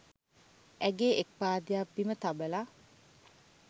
ඇගේ එක් පාදයක් බිම තබල